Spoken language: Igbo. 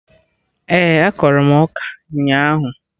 Ee, akọrọ m ọka ụnyaahụ